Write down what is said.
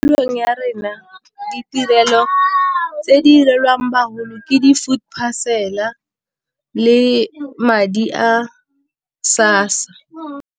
Tulong ya rena ditirelo tse di direlwang bagolo ke di food parcel-a le madi a SASSA.